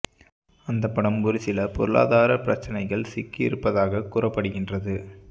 அந்த படம் ஒரு சில பொருளாதார பிரச்சனைகள் சிக்கி இருப்பதாக கூறப்படுகின்றது